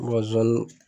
zonzannin